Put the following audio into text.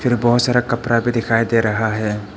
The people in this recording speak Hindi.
फ़िर बहोत सारा कपड़ा भी दिखाई दे रहा है।